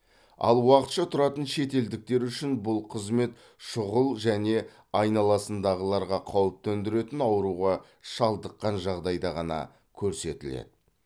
ал уақытша тұратын шетелдіктер үшін бұл қызмет шұғыл және айналасындағыларға қауіп төндіретін ауруға шалыдыққан жағдайда ғана көрсетіледі